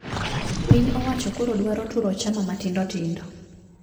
Piny owacho koro dwaro turo chama matindo tindo